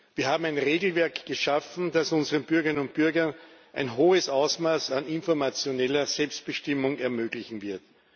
Wir haben ein Regelwerk geschaffen, das unseren Bürgerinnen und Bürgern ein hohes Ausmaß an informationeller Selbstbestimmung ermöglichen wird.